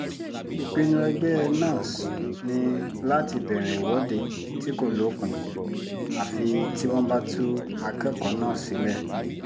ìpinnu ẹgbẹ́ nans ni láti bẹ̀rẹ̀ ìwọ́de tí kò lópin àfi tí wọ́n bá tú akẹ́kọ̀ọ́ náà sílẹ̀